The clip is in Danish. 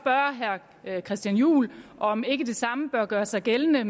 jeg christian juhl om ikke det samme bør gøre sig gældende